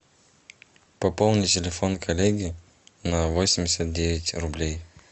пополни телефон коллеги на восемьдесят девять рублей